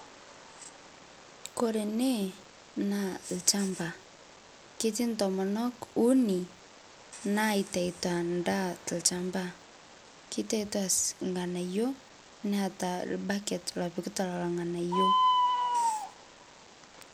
Kore ene naa olchamba , ketii ntomonok uni naitayuto endaa tolchamba kitayuto irng'anayio neeta orbaket opikita lelo ng'anayio.